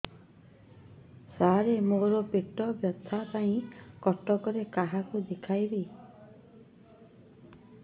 ସାର ମୋ ର ପେଟ ବ୍ୟଥା ପାଇଁ କଟକରେ କାହାକୁ ଦେଖେଇବି